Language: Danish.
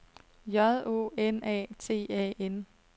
J O N A T A N